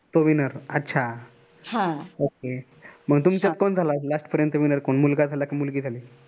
तो WINNER अच्छा okay मग तुमच्यात कोण झाला winner